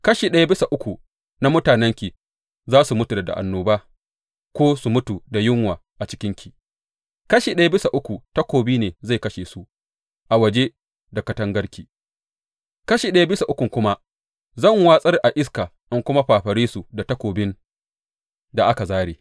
Kashi ɗaya bisa uku na mutanenki za su mutu da annoba ko su mutu da yunwa a cikinki; kashi ɗaya bisa uku takobi ne zai kashe su a waje da katangarki; kashi ɗaya bisa uku kuma zan watsar a iska in kuma fafare su da takobin da aka zāre.